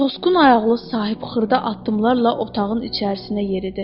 Tosqun ayaqlı sahib xırda addımlarla otağın içərisinə yeridi.